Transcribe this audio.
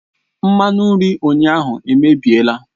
Mmanụ nri ụnyaahụ emebiela